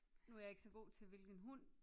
Nu er jeg ikke så god til hvilken hund